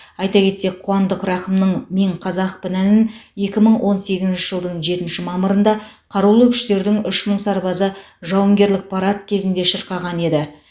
айта кетсек қуандық рақымның мен қазақпын әнін екі мың он сегізінші жылдың жетінші мамырында қарулы күштердің үш мың сарбазы жауынгерлік парад кезінде шырқаған еді